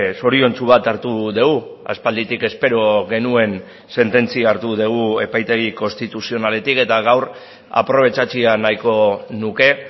zoriontsu bat hartu dugu aspalditik espero genuen sententzia hartu dugu epaitegi konstituzionaletik eta gaur aprobetxatzea nahiko nuke